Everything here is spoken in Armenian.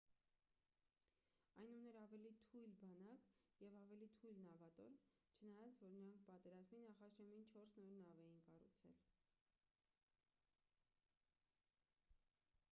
այն ուներ ավելի թույլ բանակ և ավելի թույլ նավատորմ չնայած որ նրանք պատերազմի նախաշեմին չորս նոր նավ էին կառուցել